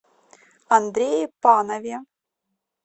андрее панове